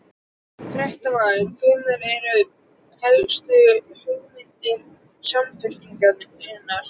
Fréttamaður: Hverjar eru helstu hugmyndir Samfylkingarinnar?